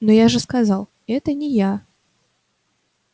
но я же сказал это не я